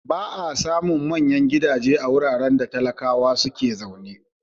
Ba a samun manyan gidaje a wuraren da talakawa suke zaune.